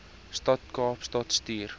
stad kaapstad stuur